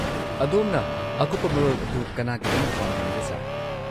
ꯑꯗꯣꯝꯅ ꯑꯀꯨꯞꯄ ꯃꯔꯣꯜ ꯑꯗꯨ ꯀꯅꯥꯒꯤꯗꯃꯛ ꯄꯥꯝꯕꯤꯕꯒꯦ, ꯁꯔ?